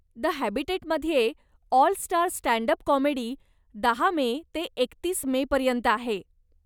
The हॅबिटॅटमध्ये 'all star stand up comedy' दहा May ते एकतीस मे पर्यंत आहे.